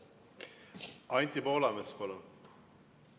Anti Poolamets, palun!